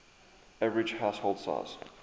average household size